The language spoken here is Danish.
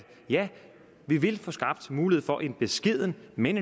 vi vil få skabt mulighed for en beskeden men